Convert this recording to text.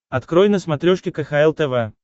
открой на смотрешке кхл тв